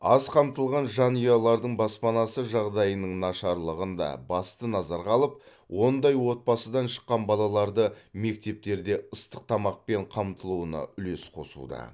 аз қамтылған жанұялардың баспанасы жағдайының нашарлығын да басты назарға алып ондай отбасыдан шыққан балаларды мектептерде ыстық тамақпен қамтылуына үлес қосуда